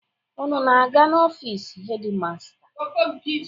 Unu ana-aga n'ofiisi hedi masta?